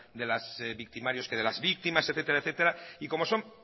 de las victimarios que de las víctimas etcétera etcétera y como son